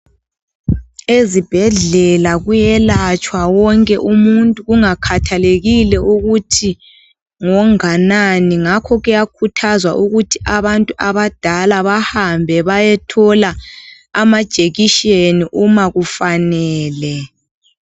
Ezibhedlela kuyelatshwa wonke umuntu kangakhathalekile ukuthi ngonganani, ngakho kuyakhuthazwa ukuthi abantu abadala bahambe bayethola amajekisheni uma kufanele.